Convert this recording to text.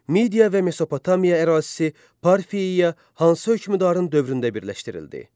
Media və Mesopotamiya ərazisi Parfiyaya hansı hökmdarın dövründə birləşdirildi?